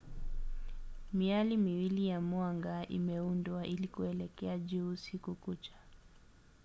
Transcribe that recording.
miali miwili ya mwanga imeundwa ili kuelekea juu usiku kucha